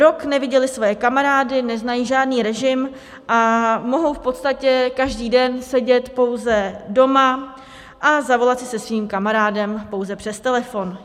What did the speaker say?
Rok neviděly své kamarády, neznají žádný režim a mohou v podstatě každý den sedět pouze doma a zavolat si se svým kamarádem pouze přes telefon.